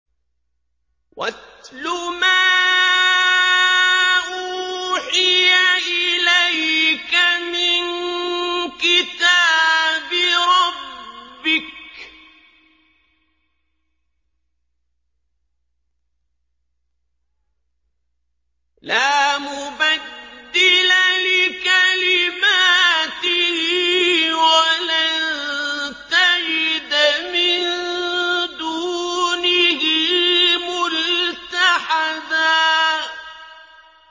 وَاتْلُ مَا أُوحِيَ إِلَيْكَ مِن كِتَابِ رَبِّكَ ۖ لَا مُبَدِّلَ لِكَلِمَاتِهِ وَلَن تَجِدَ مِن دُونِهِ مُلْتَحَدًا